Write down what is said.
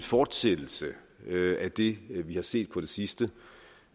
fortsættelse af det vi har set på de sidste